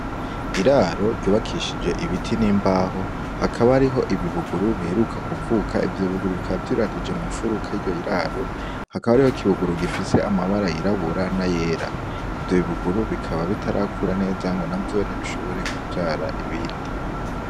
Iraro ry'ubakishije ibiti n'imbaho, hakaba hariho ibibuguru biheruka kuvuka. Ivyo bibuguru bikaba vyiyegeranije mw'ifuruka y'iryo raro, hakaba hariho ikibuguru gifise amabara yirabura n'ayera. Ivyo bibuguru bikaba bitarakura neza ngo navyone bishobore kuvyara ibindi.